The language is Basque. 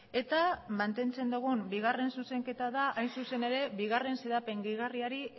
eta mantentzen dugun bigarren zuzenketa da hain zuzen ere bigarren xedapen gehigarriari